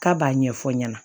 K'a b'a ɲɛfɔ ɲɛna